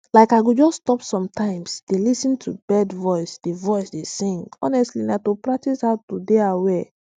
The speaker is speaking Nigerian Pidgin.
like i go just stop sometimes dey lis ten to bird voice dey voice dey sing honestly na to practice how to dey aware